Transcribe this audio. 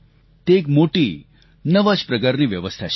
તે એક મોટી નવા જ પ્રકારની વ્યવસ્થા છે